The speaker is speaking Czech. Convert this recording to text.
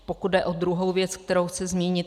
Pokud jde o druhou věc, kterou chci zmínit.